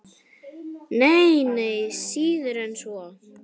Nei, nei, síður en svo.